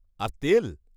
-আর তেল!